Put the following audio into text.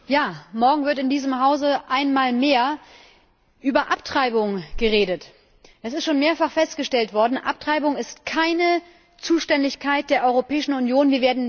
Herr Präsident! Morgen wird in diesem Hause einmal mehr über Abtreibung geredet. Es ist schon mehrfach festgestellt worden Abtreibung ist keine Zuständigkeit der Europäischen Union.